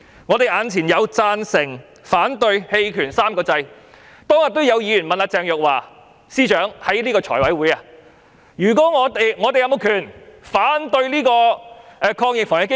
我們眼前有"贊成"、"反對"、"棄權 "3 個按鈕，當天也有議員在財委會問鄭若驊司長，議員有沒有權利反對防疫抗疫基金？